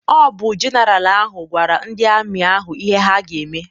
Ọ bụ jeneralụ ahụ gwara ndị amị ahụ ihe ha ga-eme.